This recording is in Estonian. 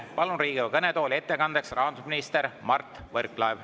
Palun Riigikogu kõnetooli ettekandjaks rahandusminister Mart Võrklaeva.